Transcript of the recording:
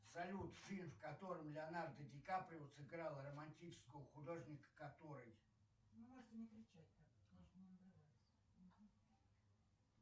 салют фильм в котором леонардо ди каприо сыграл романтического художника который